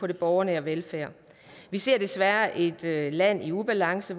den borgernære velfærd vi ser desværre et et land i ubalance